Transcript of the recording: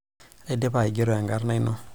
aidipa aigero ekarna ino